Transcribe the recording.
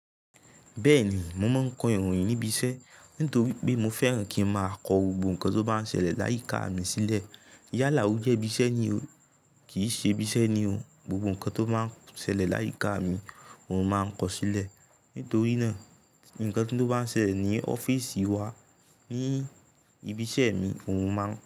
Bẹ́ẹ̀ni, mo máa n kọ ìròyìn níbi iṣẹ́ nítorí pé mo fẹ́ràn kí ń máa kọ gbogbo nǹkan tó bá ń ṣẹlẹ̀ láyíká mi sílẹ̀. Yálá ojẹ́ ibi iṣẹ́ ni o, kì í ṣe ibi iṣẹ́ ni o, gbogbo nǹkan tó bá ń ṣẹlẹ̀ láyíká mi òun máa ń kọ ó sílẹ̀. Nítorí náà, nǹkan tíò bá ń ṣẹlẹ̀ ní ọ́fíìsì wa ní ibi iṣẹ́ mi, òun máa ń.